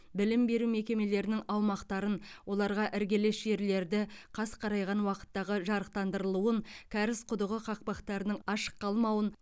білім беру мекемелерінің аумақтарын оларға іргелес жерлерді қас қарайған уақыттағы жарықтандырылуын кәріз құдығы қақпақтарының ашық қалмауын